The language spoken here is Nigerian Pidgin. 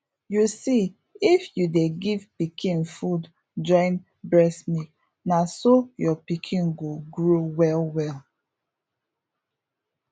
you see if you dey give pikin food join breast milk na so your pikin go grow well well